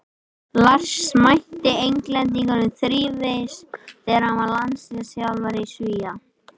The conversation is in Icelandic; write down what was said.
Lars mætti Englendingum þrívegis þegar hann var landsliðsþjálfari Svía.